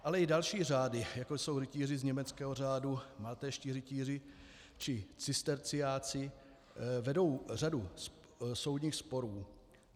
Ale i další řády, jako jsou rytíři z německého řádu, maltézští rytíři či cisterciáci vedou řadu soudních sporů.